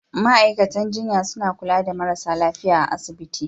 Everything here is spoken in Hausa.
Ma'aikatan jinya suna kula da marasa lafiya a asibiti.